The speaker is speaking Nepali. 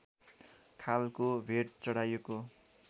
खालको भेट चढाएको